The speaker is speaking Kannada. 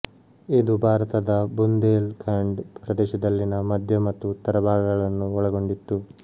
ಇದು ಭಾರತದ ಬುಂದೇಲ್ ಖಂಡ್ ಪ್ರದೇಶದಲ್ಲಿನ ಮಧ್ಯ ಮತ್ತು ಉತ್ತರ ಭಾಗಗಳನ್ನು ಒಳಗೊಂಡಿತ್ತು